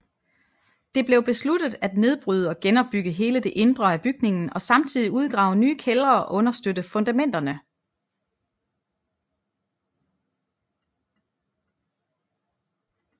Det blev besluttet at nedbryde og genopbygge hele det indre af bygningen og samtidig udgrave nye kældre og understøtte fundamenterne